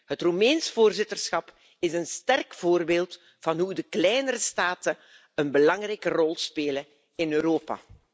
Het Roemeens voorzitterschap is een sterk voorbeeld van hoe de kleinere staten een belangrijke rol spelen in Europa.